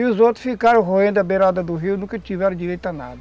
E os outros ficaram roendo a beirada do rio, nunca tiveram direito a nada.